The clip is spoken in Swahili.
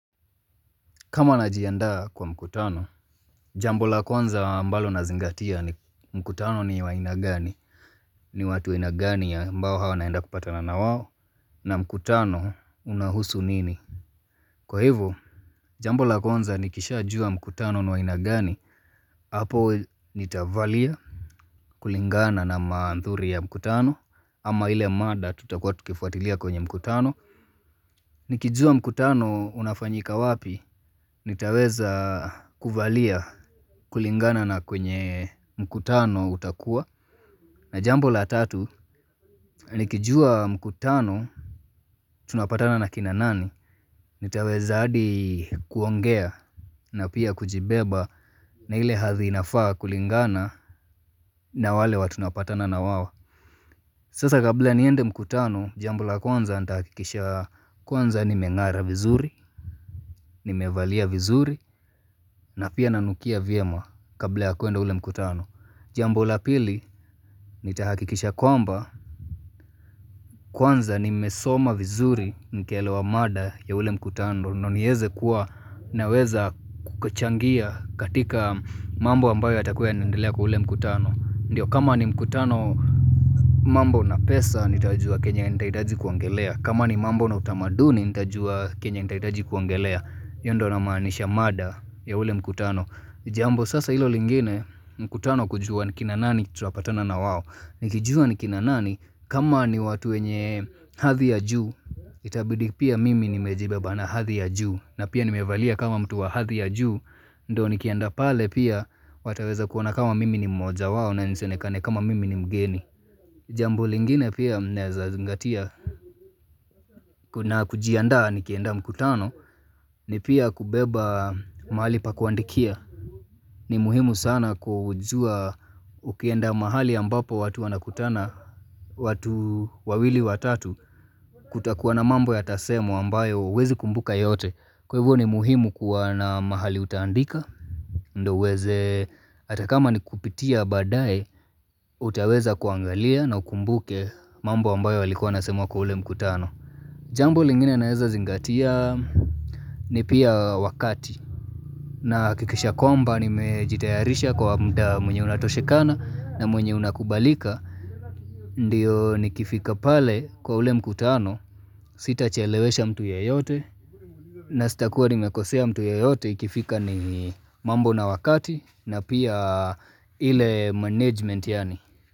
Kama najiandaa kwa mkutano, jambo la kwanza ambalo nazingatia ni mkutano ni wa aina gani, ni watu wa aina gani ambao hawa naenda kupatana nawao, na mkutano unahusu nini. Kwa hivyo, jambo la kwanza nikishajua mkutano ni wa aina gani, hapo nitavalia kulingana na maanthuri ya mkutano, ama ile madaa tuta kuwa tukifuatilia kwenye mkutano. Nikijua mkutano unafanyika wapi, nitaweza kuvalia kulingana na kwenye mkutano utakua. Na jambo la tatu, nikijua mkutano tunapatana na kina nani, nitaweza hadi kuongea na pia kujibeba na ile hathii nafaa kulingana na wale watu tunapatana na wawao Sasa kabla niende mkutano, jambo la kwanza nita hakikisha kwanza nime ngara vizuri, nime valia vizuri na pia nanukia vyema kabla ya kwenda ule mkutano. Jambo la pili, nitahakikisha kwamba Kwanza nimesoma vizuri nikaelewaa mada ya ule mkutano. Ndio nieze kuwa naweza kukachangia katika mambo ambayo yatakuwa yana endelea kwa ule mkutano. Ndiyo kama ni mkutano mambo na pesa nitajua kenya nitaitaji kuongelea. Kama ni mambo na utamaduni nitajua kenya nitaitaji kuongelea. Hiyo ndio na manisha mada ya ule mkutano. Jambo sasa hilo lingine mkutano kujua ni kina nani tuapatana na wao. Nikijua ni kina nani, kama ni watu wenye hadhi ya juu, Itabidi pia mimi nimejibeba na hadhi ya juu. Na pia nimevalia kama mtu wa hadhi ya juu. Ndo nikienda pale pia wataweza kuona kama mimi ni mmoja wao na nisionekane kama mimi ni mgeni. Jambo lingine pia naweza zingatia, kuna kujiandaa nikienda mkutano, ni pia kubeba mali pa kuandikia ni muhimu sana kujua ukienda mahali ambapo watu wanakutana, watu wawili watatu. Kutakuwa na mambo yatasemwa ambayo huwezi kumbuka yote. Kwa hivyo, ni muhimu kuwa na mahali utaandika. Ndio uweze hata kama ni kupitia baadaye. Utaweza kuangalia na ukumbuke mambo ambayo walikuwa wanasema kwa ule mkutano. Jambo lingine naeza zingatia ni pia wakati. Na hakikisha kwamba nimejitayarisha kwa muda mwenye unatoshekana na mwenye unakubalika, ndiyo nikifika pale kwa ule mkutano, sitachelewesha mtu yeyote, na sita kuwa nimekosea mtu ya yote ikifika ni mambo na wakati na pia ile management yani.